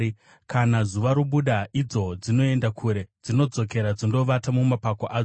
Kana zuva robuda, idzo dzinoenda kure; dzinodzokera dzondovata mumapako adzo.